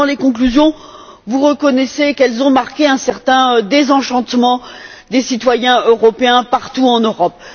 Dans ses conclusions, vous reconnaissez qu'elles ont marqué un certain désenchantement des citoyens européens partout en Europe.